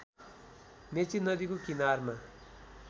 मेची नदीको किनारमा